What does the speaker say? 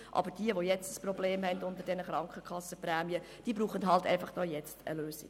Aber diejenigen, die jetzt ein Problem mit den Krankenkassenprämien haben, brauchen halt jetzt eine Lösung.